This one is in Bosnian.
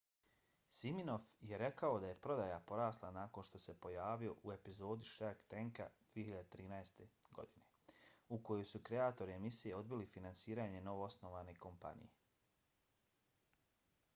siminoff je rekao da je prodaja porasla nakon što se pojavio u epizodi shark tanka 2013. godine u kojoj su kreatori emisije odbili finansiranje novoosnovane kompanije